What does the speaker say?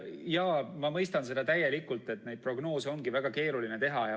Jaa, ma mõistan seda täielikult, neid prognoose ongi väga keeruline teha.